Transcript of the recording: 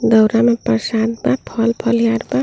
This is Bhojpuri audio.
दऊरा में प्रसाद बा फल-फलिहार बा।